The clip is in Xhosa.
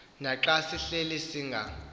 naxa sihleli singa